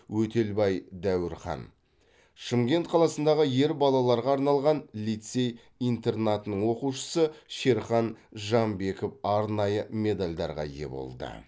өтелбай дәуірхан шымкент қаласындағы ер балаларға арналған лицей интернатының оқушысы шерхан жамбеков арнайы медальдарға ие болды